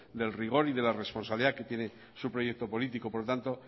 del rigor y de la responsabilidad que tiene su proyecto político por lo tanto